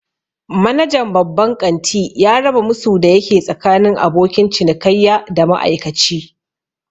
Manajan babban ƙanti ya raba musu da yake tsakanin abokin cinikayya da ma'aikaci